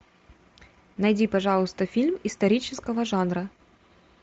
найди пожалуйста фильм исторического жанра